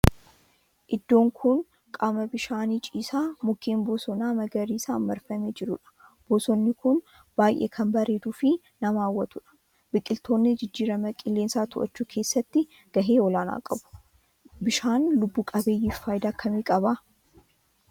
Iddoon kun qaama bishaanii ciisaa mukkeen bosonaa magariisan marfamee jirudha. Bosonni kun baayyee kan bareeduu fi nama hawwatudha. Biqiltoonni jijjiirama qilleensaa to'achuu keessatti gahee olaanaa qabu. Bishaan lubbu qabeeyyiif faayidaa akkamii qaba?